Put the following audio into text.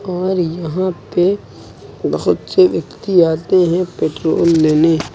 और यहां पे बहुत से व्यक्ति आते हैं पेट्रोल लेने।